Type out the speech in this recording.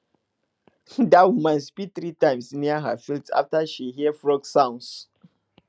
dat woman spit three times near her field after she hear frog sounds